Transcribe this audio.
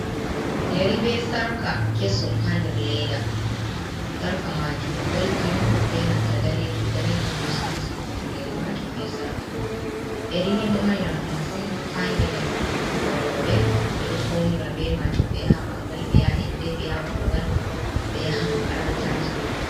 Yeri be sarka kesom ha nder leda. Sarka maajum golden benanta danejum-danejum be stones habandu yari majum be sarka mai. Yeri ni ɗo mari nafu masin ha ngedam ɓikkon roɓe, ɓedo faunira be majum ɓe yaha bangal, ɓe yaha inde, ɓe yaha kugal, ɓe yaha makarantaji be mai.